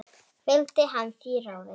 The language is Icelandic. Fylgdi hann því ráði.